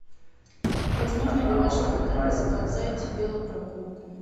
возможно ли в вашем отеле заказать велопрогулку